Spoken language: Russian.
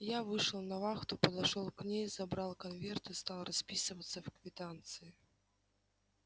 я вышел на вахту подошёл к ней забрал конверты стал расписываться в квитанции